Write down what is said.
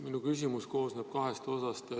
Minu küsimus koosneb kahest osast.